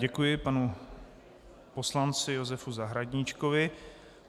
Děkuji panu poslanci Josefu Zahradníčkovi.